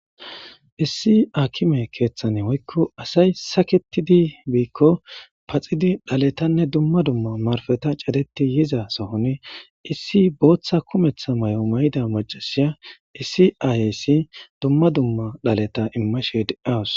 Issi aakime keeththane woykko asay saketidi biikko paxidi dhaletanne dumma dumma marfeta cadeti yiza sohoni issi booththa kumeththa may'o may'idda macasiya issi ayhesi dumma dumma dhaleta immashe dawus